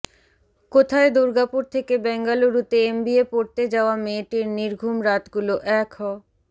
কোথায় দুর্গাপুর থেকে বেঙ্গালুরুতে এমবিএ পড়তে যাওয়া মেয়েটির নির্ঘুম রাতগুলো এক হ